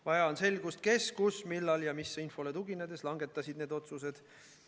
Vaja on selgust, kes, kus, millal ja mis infole tuginedes langetas need otsused.